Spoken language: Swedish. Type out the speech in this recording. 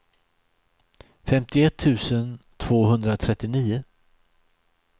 femtioett tusen tvåhundratrettionio